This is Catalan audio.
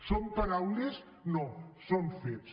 són paraules no són fets